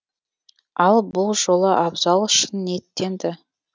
ал бұл жолы абзал шын ниеттенді